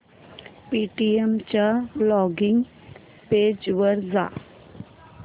Paytm च्या login page वर जा